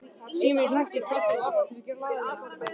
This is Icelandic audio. Síminn hringdi hvellt og allt því glaðlega.